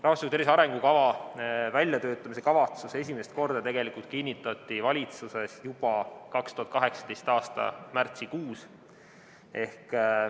Rahvastiku tervise arengukava väljatöötamise kavatsus kinnitati valitsuses esimest korda juba 2018. aasta märtsikuus.